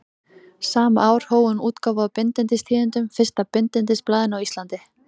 Sama ár hóf hún útgáfu á Bindindistíðindum, fyrsta bindindisblaðinu á Íslandi.